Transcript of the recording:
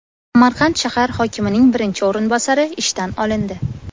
Samarqand shahar hokimining birinchi o‘rinbosari ishdan olindi.